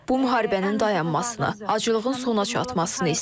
Bu müharibənin dayanmasını, aclığın sona çatmasını istəyirik.